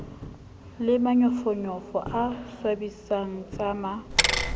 le manyofonyofo a swabisang tsama